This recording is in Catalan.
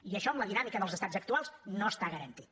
i això amb la dinàmica dels estats actuals no està garantit